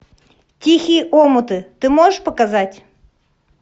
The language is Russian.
тихие омуты ты можешь показать